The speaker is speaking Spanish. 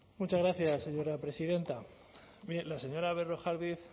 muchas gracias señora presidenta mire la señora berrojalbiz